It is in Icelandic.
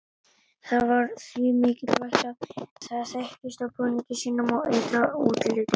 Það var því mikilvægt að það þekktist á búningi sínum og ytra útliti.